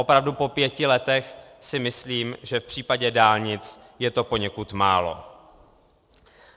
Opravdu po pěti letech si myslím, že v případě dálnic je to poněkud málo.